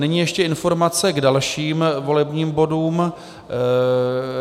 Nyní ještě informace k dalším volebním bodům.